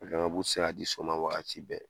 bu ti se ka di so ma waati bɛɛ.